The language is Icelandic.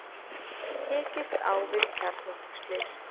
Tekist á við kjarnorkuslys